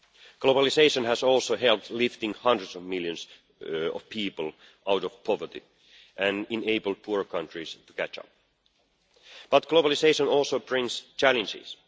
Globalisation has also helped lift hundreds of millions of people out of poverty and has enabled poorer countries to catch up. But globalisation also brings challenges.